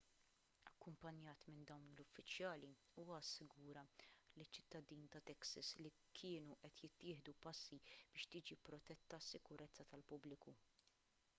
akkumpanjat minn dawn l-uffiċjali huwa assigura liċ-ċittadini ta' texas li kienu qed jittieħdu passi biex tiġi protetta s-sikurezza tal-pubbliku